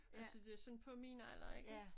Altså det sådan på min alder ikke